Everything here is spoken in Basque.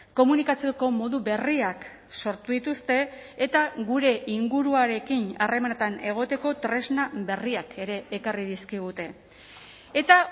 komunikatzeko modu berriak sortu dituzte eta gure inguruarekin harremanetan egoteko tresna berriak ere ekarri dizkigute eta